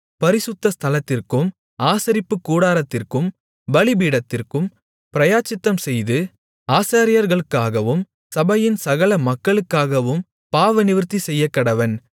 பரிசுத்த ஸ்தலத்திற்கும் ஆசரிப்புக்கூடாரத்திற்கும் பலிபீடத்திற்கும் பிராயச்சித்தம்செய்து ஆசாரியர்களுக்காகவும் சபையின் சகல மக்களுக்காகவும் பாவநிவிர்த்தி செய்யக்கடவன்